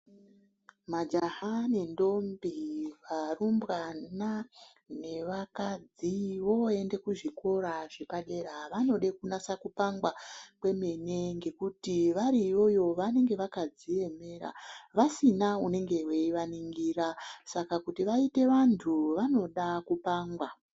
Majaha nendombe , varumbwana nevakadzi voende kuzvikora zvepadera vanode kunasa kupangwa kwemene ngekuti vari iyoyo vanege vakadziemera vasina unenge veianingira saka kuti vaite vantu vanoda kupangwa